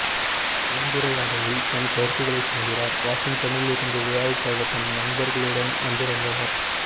கலந்துரையாடலில் தன் கருத்துகளைச் சொல்கிறார் வாஷிங்டனிலிருந்து விழாவுக்காகத் தன் நண்பர்களுடன் வந்திருந்தவர்